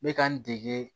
N bɛ ka n dege